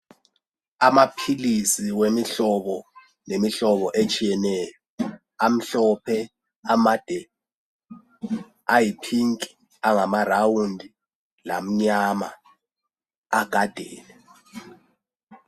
Amapilisi awemihlobo lemihlobo etshiyeneyo. Amhlophe amade, ayiphinki angamarawundi lamnyama agadene.